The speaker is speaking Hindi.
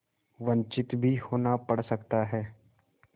वंचित भी होना पड़ सकता है